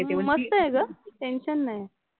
मस्त आहे ग. टेन्शन नाही.